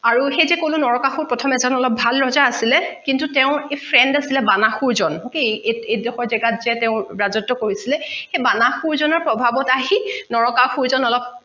আৰু সেই যে কলো নৰকাসুৰ অলপ ভাল ৰজা আছিলে কিন্তু তেওঁৰ friend আছিলে বানাহসুৰ জন okay এই ডোখৰ জেগাত যে তেওঁ ৰাজত্ব কৰিছিলে সেই বানাহসুৰ জনৰ প্ৰভাৱত আহি নৰকাসুৰ জন অলপ